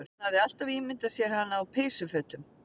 Hann hafði alltaf ímyndað sér hana á peysufötum